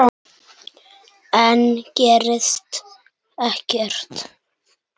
Enn gerðist ekkert.